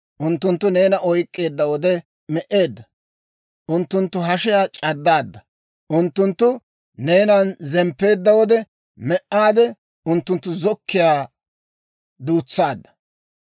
unttunttu neena oyk'k'eedda wode me"ade, unttunttu hashiyaa c'addaadda; unttunttu neenan zemppeedda wode me"ade, unttunttu zokkiyaa duutsaadda.